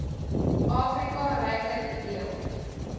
afrika ryklik bedeeld